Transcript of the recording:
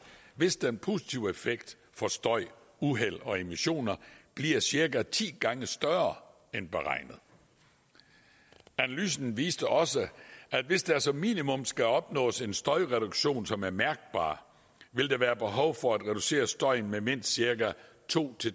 hvis den positive effekt for støj uheld og emissioner bliver cirka ti gange større end beregnet analysen viste også at hvis der som minimum skal opnås en støjreduktion som er mærkbar vil der være behov for at reducere støjen med mindst cirka to